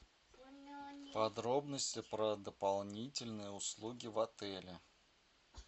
подробности про дополнительные услуги в отеле